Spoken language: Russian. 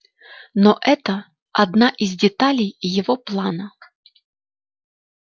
но это одна из деталей его плана